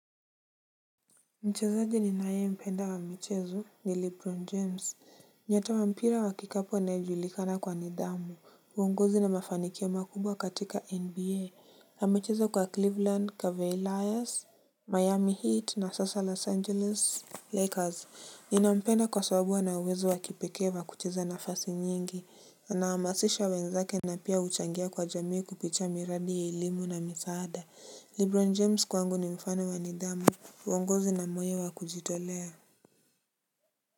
Mchezaji ninayempenda wa mchezo ni Lebron James. Nyota wa mpira wa kikapu anayejulikana kwa nidhamu. Uongozi na mafanikio makubwa katika NBA. Amecheza kwa Cleveland, Cavaliers, Miami Heat na sasa Los Angeles Lakers. Ninampenda kwa sababu ana uwezo wa kipekee wa kucheza nafasi nyingi. Nahamasisha wenzake na pia huchangia kwa jamii kupitia miradi ya elimu na misaada. Lebron James kwangu ni mfano wa nidhamu. Uonguzi na moyonwa kujitolea.